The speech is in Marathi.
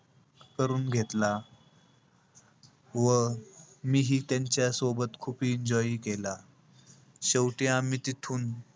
करून घेतला. व मीही त्यांच्यासोबत खूप enjoy हि केला. शेवटी आम्ही तिथून,